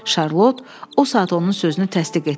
Şarlot o saat onun sözünü təsdiq etdi.